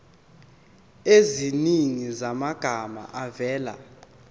eziningi zamagama avela